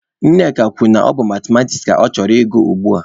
Nneka kwuru na ọ bụ Mathematiks ka ọ chọrọ ị gụ ugbua.